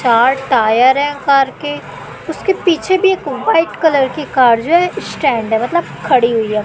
चार टायर हैं कार के उसके पीछे भी एक व्हाइट कलर की कार जो है स्टैंड है मतलब खड़ी खड़ी हुई है।